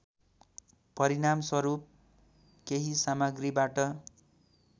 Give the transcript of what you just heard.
परिणामस्वरूप केही सामग्रीबाट